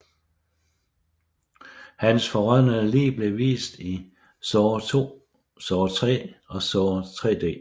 Hans forrådnede lig bliver vist i Saw II Saw III og Saw 3D